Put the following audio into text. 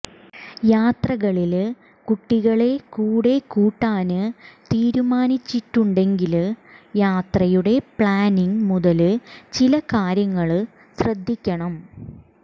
യാത്രകളില് കുട്ടികളെ കൂടെ കൂട്ടാന് തീരുമാനിച്ചിട്ടുണ്ടെങ്കില് യാത്രയുടെ പ്ലാനിംഗ് മുതല് ചില കാര്യങ്ങള് ശ്രദ്ധിക്കണം